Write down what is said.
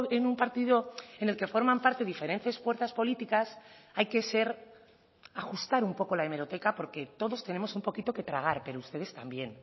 en un partido en el que forman parte diferentes fuerzas políticas hay que ser ajustar un poco la hemeroteca porque todos tenemos un poquito que tragar pero ustedes también